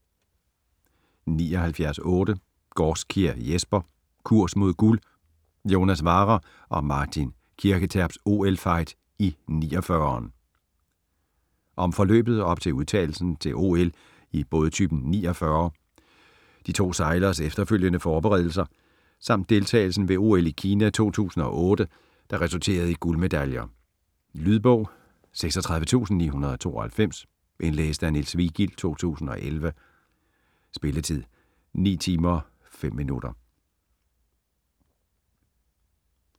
79.8 Gaarskjær, Jesper: Kurs mod guld: Jonas Warrer & Martin Kirketerps OL-fight i 49'eren Om forløbet op til udtagelsen til OL i bådtypen 49er, de to sejleres efterfølgende forberedelser, samt deltagelsen ved OL i Kina i 2008, der resulterede i guldmedaljer. Lydbog 36992 Indlæst af Niels Vigild, 2011. Spilletid: 9 timer, 5 minutter.